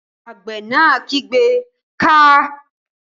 Àgbẹ̀ náà kígbe "káa!"